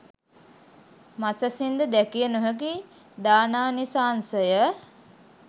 මසැසින්ද දැකිය නොහැකි දානානිසංසය